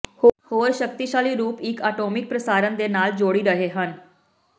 ਹੋਰ ਸ਼ਕਤੀਸ਼ਾਲੀ ਰੂਪ ਇੱਕ ਆਟੋਮੈਟਿਕ ਪ੍ਰਸਾਰਣ ਦੇ ਨਾਲ ਜੋੜੀ ਰਹੇ ਹਨ